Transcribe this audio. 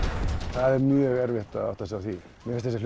það er mjög erfitt að átta sig á því mér finnst